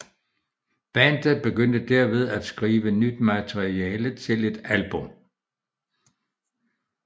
Bandet begyndte derved at skrive nyt materiale til et album